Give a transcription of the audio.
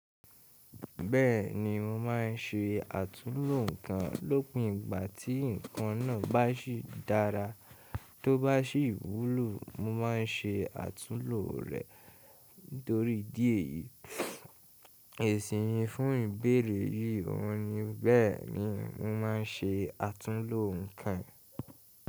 Bẹ́ẹ̀ni mo máà ń se àtúnlo nǹkan lópin ìgbà tí nǹkan náà bá sì dára. Tó bá sì wúlò mo ma se àtúnlò rè torí ìdí èyí. Esinmi fún ìbéèrè yí òun ni. Bẹ́ẹ̀ni mo máà ń se àtúnlo nǹkan.